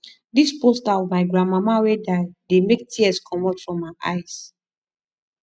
dis poster of my grandmama wey die dey make tears comot from my eyes